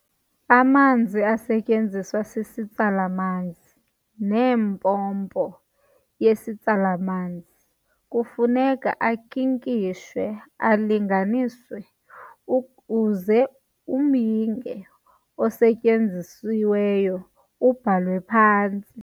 Amanzi asetyenziswa sisitsala-manzi neempompo yesitsala-manzi kufuneka ankinkishwe alinganiswe uze umyinge osetyenzisiweyo ubhalwe phantsi.